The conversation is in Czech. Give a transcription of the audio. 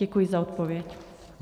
Děkuji za odpověď.